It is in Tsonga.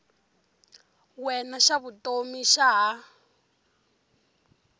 wena xa vutomi xa ha